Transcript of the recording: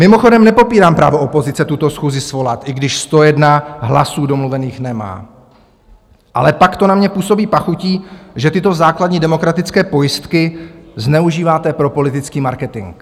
Mimochodem nepopírám právo opozice tuto schůzi svolat, i když 101 hlasů domluvených nemá, ale pak to na mě působí pachutí, že tyto základní demokratické pojistky zneužíváte pro politický marketing.